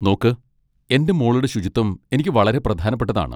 നോക്ക്, എൻ്റെ മോളുടെ ശുചിത്വം എനിക്ക് വളരെ പ്രധാനപ്പെട്ടതാണ്.